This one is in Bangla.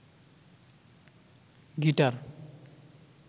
গিটার